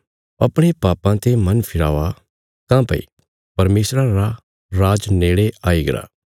अपणे पापां ते मन फिरावा काँह्भई परमेशरा रा राज नेड़े आईगरा